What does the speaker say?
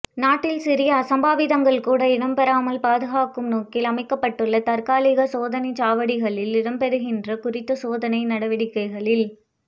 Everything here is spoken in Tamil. நாட்டில் சிறிய அசம்பாவிதங்கள் கூட இடம்பெறாமல் பாதுகாக்கும் நோக்கில் அமைக்கப்பட்டுள்ள தற்காலிக சோதனைச் சாவடிகளில் இடம்பெறுகின்ற குறித்த சோதனை நடவடிக்கைகளில்